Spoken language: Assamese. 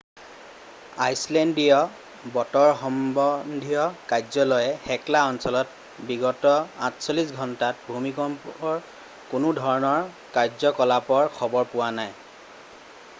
আইচলেণ্ডীয় বতৰ সম্বন্ধীয় কাৰ্যালয়ে হেকলা অঞ্চলত বিগত 48 ঘণ্টাত ভূমিকম্পৰ কোনো ধৰণৰ কাৰ্যকলাপৰ খবৰ পোৱা নাই